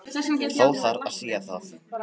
Þó þarf að sía það.